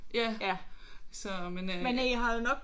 Ja så men øh